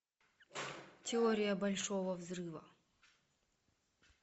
теория большого взрыва